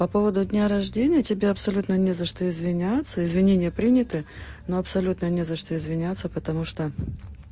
по поводу дня рождения тебе абсолютно не за что извиняться извинения приняты но абсолютно не за что извиняться потому что